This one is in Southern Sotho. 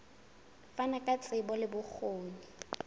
fana ka tsebo le bokgoni